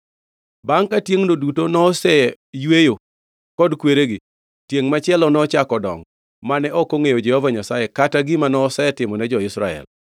Bangʼ ka tiengʼno duto noseyweyo kod kweregi, tiengʼ machielo nochako dongo, mane ok ongʼeyo Jehova Nyasaye kata gima nosetimone jo-Israel.